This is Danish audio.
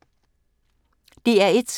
DR1